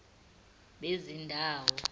bezindawo